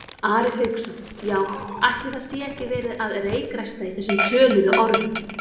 Ari Hauksson: Já, ætli það sé ekki verið að reykræsta í þessum töluðu orðum?